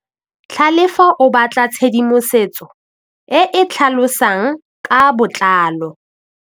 Tlhalefô o batla tshedimosetsô e e tlhalosang ka botlalô.